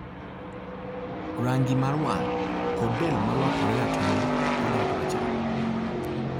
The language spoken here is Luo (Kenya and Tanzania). Rangi mar wang' kod del ma lokore ratong' kodok rachar.